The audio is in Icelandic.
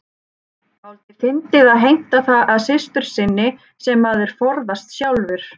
Dálítið fyndið að heimta það af systur sinni sem maður forðast sjálfur.